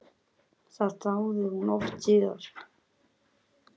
Það þáði hún oft síðar.